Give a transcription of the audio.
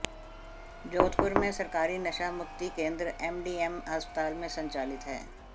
जोधपुर में सरकारी नशा मुक्ति केंद्र एमडीएम अस्पताल में संचालित है